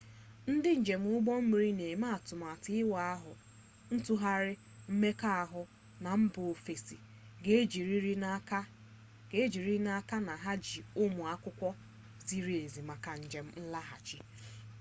ndị njem ụgbọ mmiri na-eme atụmatụ ịwa ahụ ntụgharị mmekọahụ na mba ofesi ga-ejiriri n'aka na ha ji ụmụ akwụkwọ ziri ezi maka njem nlaghachi